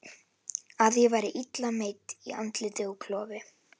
Að ég væri illa meidd í andliti og klofi.